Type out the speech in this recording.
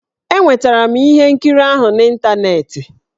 Enwetara m ihe nkiri ahụ n'ịntaneetị.